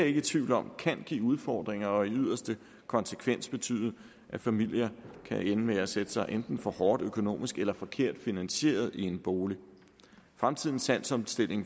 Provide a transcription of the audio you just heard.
ikke i tvivl om kan give udfordringer og i yderste konsekvens betyde at familier kan ende med at sætte sig enten for hårdt økonomisk eller forkert finansieret i en bolig fremtidens salgsopstilling